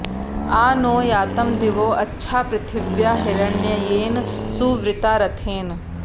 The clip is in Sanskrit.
आ नो॑ यातं दि॒वो अच्छा॑ पृथि॒व्या हि॑र॒ण्यये॑न सु॒वृता॒ रथे॑न